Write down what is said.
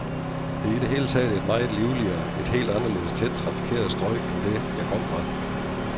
Det er i det hele taget et meget livligere, et helt anderledes tæt trafikeret strøg end det, jeg kom fra.